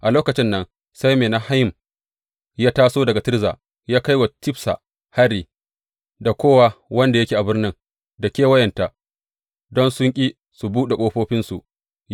A lokacin nan sai Menahem ya taso daga Tirza, ya kai wa Tifsa hari da kowa wanda yake a birnin da kewayenta, don sun ƙi su buɗe ƙofofinsu.